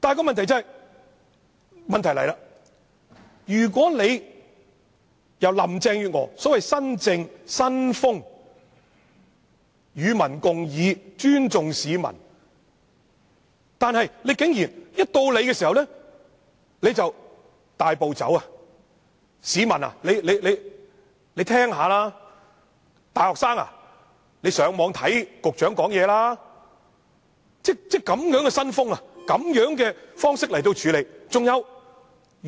然而，問題來了，林鄭月娥展現了所謂新政、新風，說是與民共議，尊重市民，但竟然甫一上場便大步走，叫市民聽聽討論內容，叫大學生上網看局長的說話，是以這樣的新風，這樣的方式來處理。